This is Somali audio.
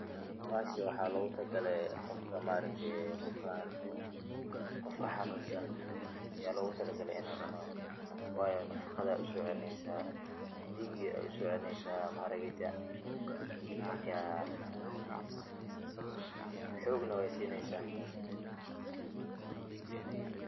Bahashan waxa lagu talaagalay Qoofka maaragtay bukan, Qoofka xanunsan yalagu talaagalay inu cuunoh, wayo nafaqatha Aya u socelineysah Dega Aya u socelineysah, aragta maarka xogna waysineysah.